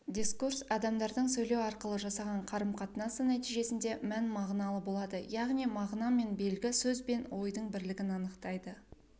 дискурс адамдардың сөйлеу арқылы жасаған қарым-катынасы нәтижесінде мән-мағыналы болады яғни мағына мен белгі сөз бен ойдың бірлігін айқындайды